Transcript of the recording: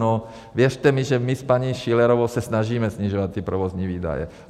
No věřte mi, že my s paní Schillerovou se snažíme snižovat ty provozní výdaje.